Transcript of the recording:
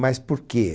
Mas por quê?